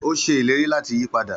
Ó ṣe ìlérí láti yí padà